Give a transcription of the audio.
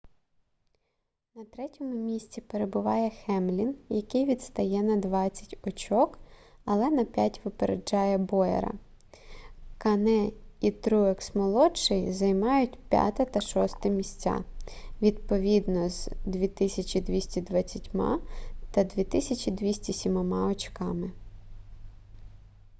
на третьому місці перебуває хемлін який відстає на двадцять очок але на п'ять випереджає боєра кане і труекс-молодший займають п'яте та шосте місця відповідно з 2220 і 2207 очками